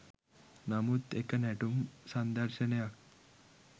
නමුත් එක නැටුම් සංදර්ශනයක්